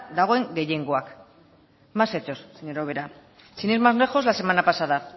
dagoen gehiengoak más hechos señora ubera sin ir más lejos la semana pasada